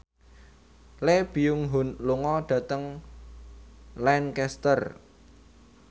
Lee Byung Hun lunga dhateng Lancaster